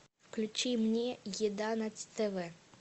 включи мне еда на тв